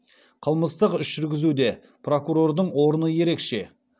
қылмыстық іс жүргізуде прокурордың орны ерекше